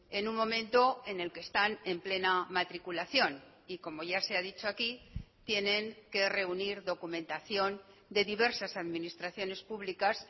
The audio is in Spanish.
en un momento en el que están en plena matriculación y como ya se ha dicho aquí tienen que reunir documentación de diversas administraciones publicas